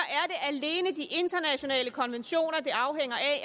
er de internationale konventioner det afhænger